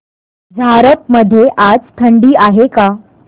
झारप मध्ये आज थंडी आहे का